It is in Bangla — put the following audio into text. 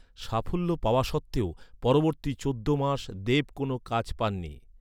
সাফল্য পাওয়া সত্ত্বেও, পরবর্তী চোদ্দ মাস দেব কোন কাজ পাননি।